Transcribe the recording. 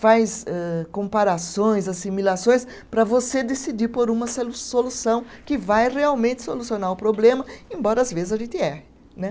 Faz âh comparações, assimilações, para você decidir por uma solu, solução que vai realmente solucionar o problema, embora às vezes a gente erre né.